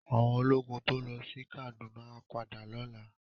Áwòn ólógùn tó lò si Kaduna á pádà lòlá